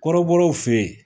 Kɔrɔbɔrɔw fɛ yen